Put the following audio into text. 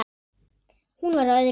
Hún var á öðru máli.